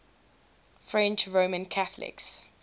french roman catholics